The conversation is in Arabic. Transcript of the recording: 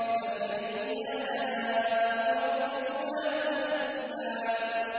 فَبِأَيِّ آلَاءِ رَبِّكُمَا تُكَذِّبَانِ